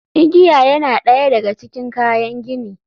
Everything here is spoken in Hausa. Igiya yana ɗaya daga cikin kayan gini.